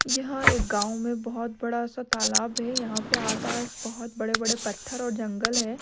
यह एक गाओं में बोहोत बडासा तालाब हैं यहाँ पे आसपास बहोत बड़े-बड़े पत्थर और जंगल हैं।